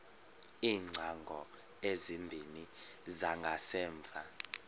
iingcango ezimbini zangasemva